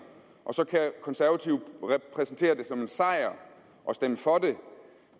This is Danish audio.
og så kan konservative præsentere det som en sejr og stemme for det